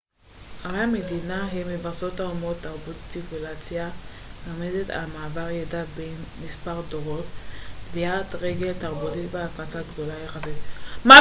ערי-מדינה הן מבשרות האומות תרבות ציביליזציה מרמזת על מעבר ידע בין מספר דורות טביעת רגל תרבותית והפצה גדולה יחסית